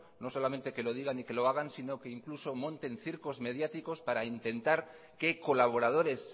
no solamente que lo digan y que lo hagan sino que monten circos mediáticos para intentar que colaboradores